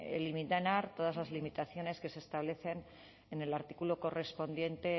eliminar todas las limitaciones que se establecen en el artículo correspondiente